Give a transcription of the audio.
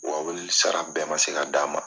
Wa weleli sara bɛɛ man se ka d'a ma.